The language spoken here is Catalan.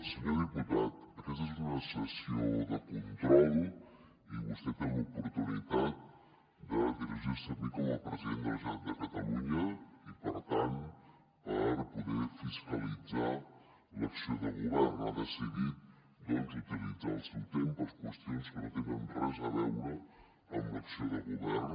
senyor diputat aquesta és una sessió de control i vostè té l’oportunitat de dirigir se a mi com a president de la generalitat de catalunya i per tant per poder fiscalitzar l’acció de govern i ha decidit doncs utilitzar el seu temps per a qüestions que no tenen res a veure amb l’acció de govern